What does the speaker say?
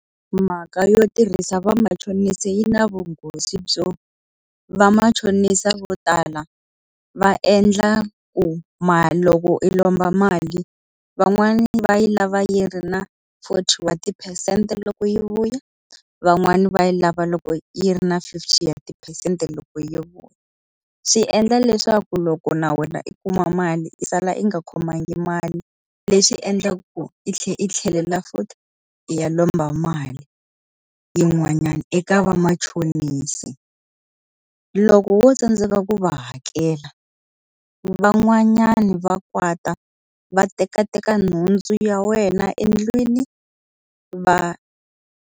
Mhaka yo tirhisa vamachonisi yi na vunghozi byo vamachonisa vo tala, va endla ku loko i lomba mali van'wani va yi lava yi ri na forty wa tiphesente loko yi vuya, van'wani va yi lava loko yi ri na fifty ya tiphesente loko yi vuya. Swi endla leswaku loko na wena i kuma mali yi sala yi nga khomangi mali, leswi endlaka ku i tlhela i tlhelela futhi i ya lomba mali yin'wanyani eka vamachonisi. Loko wo tsandzeka ku va hakela, van'wanyani va kwata va tekateka nhundzu ya wena endlwini va.